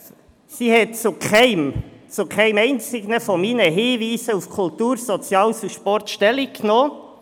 Sie hat zu keinem, zu keinem einzigen meiner Hinweise zu Kultur, Soziales und Sport Stellung genommen.